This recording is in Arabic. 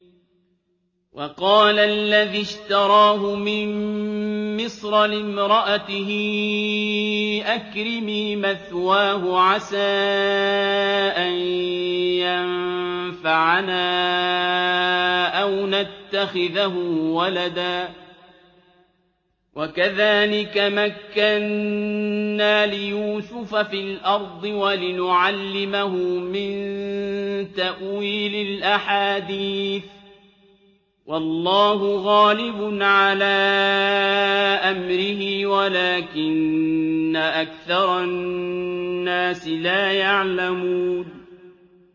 وَقَالَ الَّذِي اشْتَرَاهُ مِن مِّصْرَ لِامْرَأَتِهِ أَكْرِمِي مَثْوَاهُ عَسَىٰ أَن يَنفَعَنَا أَوْ نَتَّخِذَهُ وَلَدًا ۚ وَكَذَٰلِكَ مَكَّنَّا لِيُوسُفَ فِي الْأَرْضِ وَلِنُعَلِّمَهُ مِن تَأْوِيلِ الْأَحَادِيثِ ۚ وَاللَّهُ غَالِبٌ عَلَىٰ أَمْرِهِ وَلَٰكِنَّ أَكْثَرَ النَّاسِ لَا يَعْلَمُونَ